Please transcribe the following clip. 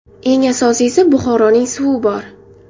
Eng asosiysi, Buxoroning suvi bor.